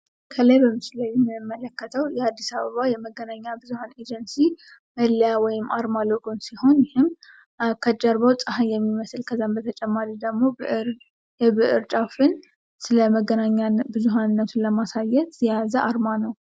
ከላይ በምስሉ ላይ የምንመለከተው የአዲስ አበባ የመገናኛ ብዙሀን ኤጀንሲ መለያ ወይም አርማ ሎጎን ሲሆን ይህም ከጀርባው ፀሀይ የሚመስል ከዛም ደግሞ የብር ጫፍን ስለመገናኛ ብዙሀንነቱን ለማሳዬት የያዘ አርማ ነው።